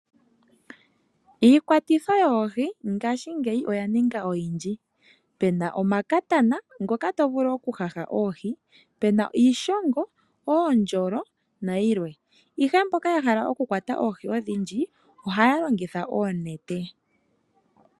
Iikwatitho yoohi ngashingeyi oyaninga oyindji pena omakatana ngoka tovulu okuhaha oohi , pena iishongo, oondjolo nayilwe, ihe mboka yahala okukwata oohi odhindji ohaya longitha oonete.